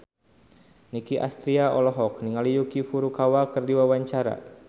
Nicky Astria olohok ningali Yuki Furukawa keur diwawancara